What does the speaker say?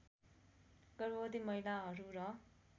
गर्भवती महिलाहरू र